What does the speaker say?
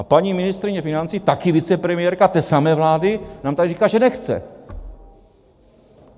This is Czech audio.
A paní ministryně financí, také vicepremiérka té samé vlády, nám tady říká, že nechce.